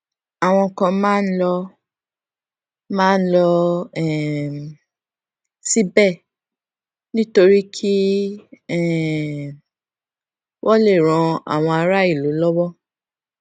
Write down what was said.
àwọn kan máa ń lọ máa ń lọ um síbè nítorí kí um wón lè ran àwọn aráàlú lówó